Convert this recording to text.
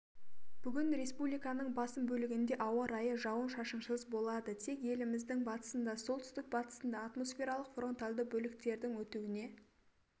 бүгін республиканың басым бөлігінде ауа райы жауын-шашынсыз болады тек еліміздің батысында солтүстік-батысында атмосфералық фронтальды бөліктердің өтуіне